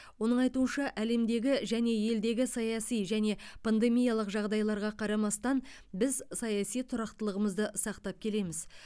оның айтуынша әлемдегі және елдегі саяси және пандемиялық жағдайларға қарамастан біз саяси тұрақтылығымызды сақтап келеміз